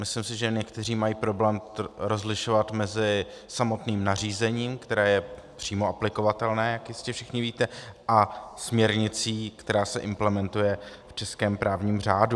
Myslím si, že někteří mají problém rozlišovat mezi samotným nařízením, které je přímo aplikovatelné, jak jistě všichni víte, a směrnicí, která se implementuje v českém právním řádu.